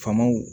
Faamaw